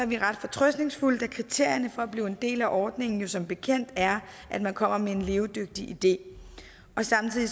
vi ret fortrøstningsfulde da kriterierne for at blive en del af ordningen jo som bekendt er at man kommer med en levedygtig idé samtidig